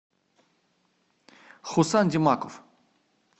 хусан димаков